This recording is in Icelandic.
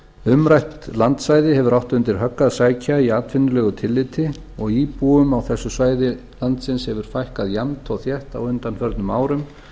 umrætt landsvæði hefur átt undir högg að sækja í atvinnulegu tilliti og íbúum á þessu svæði landsins hefur fækkað jafnt og þétt á undanförnum árum